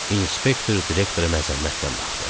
İnspektor direktora məzəmmətlə baxdı.